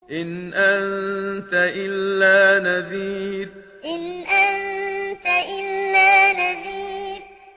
إِنْ أَنتَ إِلَّا نَذِيرٌ إِنْ أَنتَ إِلَّا نَذِيرٌ